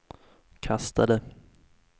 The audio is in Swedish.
kastade